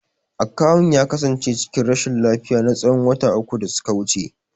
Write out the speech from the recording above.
Akawun ya kasance cikin rashin lafiya na tsawon wata uku da suka wuce.